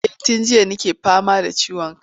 Eh tun jiya nake fama da ciwon ciki.